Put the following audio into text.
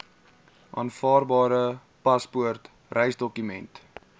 aanvaarbare paspoort reisdokument